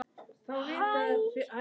Elsku Borga!